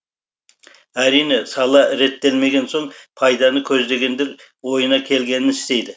әрине сала реттелмеген соң пайданы көздегендер ойына келгенін істейді